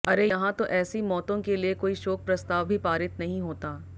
अरे यहां तो ऐसी मौतों के लिए कोई शोक प्रस्ताव भी पारित नहीं होता